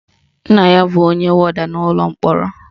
Nna ya bụ onye wọda n'ụlọ mkpọrọ